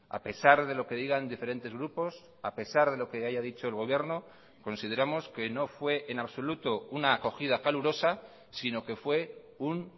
a pesar de lo que digan diferentes grupos a pesar de lo que haya dicho el gobierno consideramos que no fue en absoluto una acogida calurosa sino que fue un